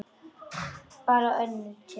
Bara önnur tegund.